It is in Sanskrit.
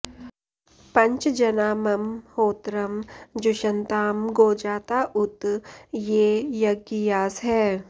पञ्च जना मम होत्रं जुषन्तां गोजाता उत ये यज्ञियासः